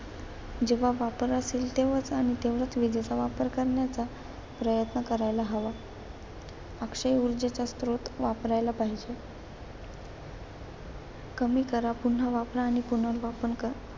जेव्हा वापर असेल तेव्हा आणि तेव्हाच विजेचा वापर करण्याचा प्रयत्न करायला हवा. अक्षय ऊर्जेचा स्रोत वापरायला पाहिजे. कमी करा, पुन्हा वापरा आणि पुनर्वापर करा.